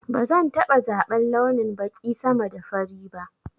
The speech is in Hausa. Bazan taɓa zaban launin baƙi sama da fari ba